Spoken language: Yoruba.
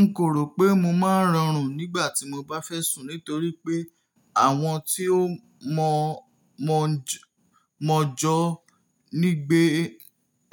N kò rò pé mo máa ń rọrùn nígbà tí mo bá fẹ́ sùn nítorí pé àwọn tí ó mọ, mọ jọ, mọ̀jọ̀ nígbẹ́,